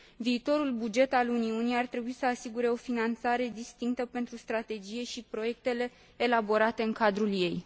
Viitorul buget al Uniunii ar trebui să asigure o finanțare distinctă pentru Strategie și proiectele elaborate în cadrul ei.